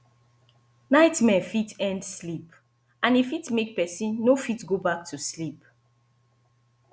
nightmare fit end sleep and e fit make person no fit go back to sleep